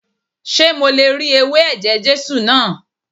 Ṣé mo le ri ewé ẹ̀jẹ̀ Jésù náà?